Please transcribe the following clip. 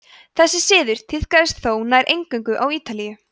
þessi siður tíðkaðist þó nær eingöngu á ítalíu